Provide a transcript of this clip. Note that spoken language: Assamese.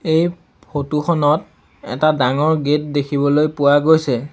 এই ফটো খনত এটা ডাঙৰ গেট দেখিবলৈ পোৱা গৈছে।